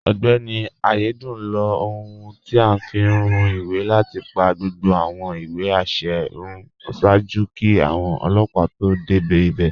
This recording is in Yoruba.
Ọgbẹni Ayédùn ló ọ̀hun tí a fi ń rún ìwé láti pa gbogbo awọn ìwé àṣẹ̀ rún ṣáàjú kí awọn ọlọpa tó dẹ́ ibẹ̀.